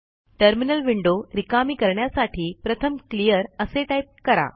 terminal window रिकामी करण्यासाठी प्रथमclear असे टाईप करा